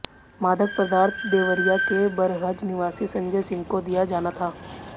मादक पदार्थ देवरिया के बरहज निवासी संजय सिंह को दिया जाना था